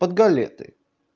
под галеты